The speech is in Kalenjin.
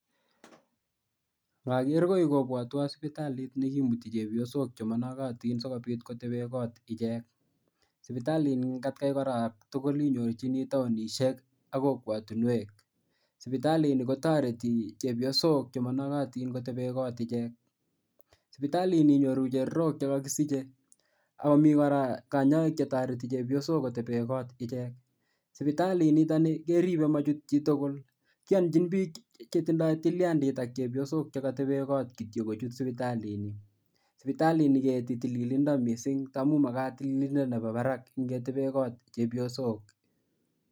Ngager koi kobotwo sipitalit ne kimuti chepyosok che monokatin sikobit kotebe koot ichek. Sipitalit ni eng atkai kora tugul inyorchini taunishek ak kokwotunwek. Sipitalit ni kotoreti chepyosok che monokatin kotebe koot ichek. Sipitalit ni inyoru cherorok che kakisiche. Ako mii kora kanyaik che toreti chepyosok kotebe koot ichek. Sipitalit nitoni keribe machut chitugul. Kiyonchin biik che tindoi tiliandit ak chepyosok che katebe koot kityo kochut sipitalit ni. Sipitalit ni keti tililindo missing amu magat tiilindo nebo barak ngetebe kot chepyosok.